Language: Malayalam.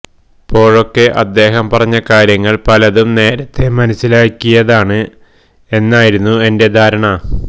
പ്പോഴൊക്കെ അദ്ദേഹം പറഞ്ഞ കാര്യങ്ങൾ പലതും നേരത്തെ മനസ്സിലാക്കിയതാണ് എന്നായിരുന്നു എന്റെ ധാരണ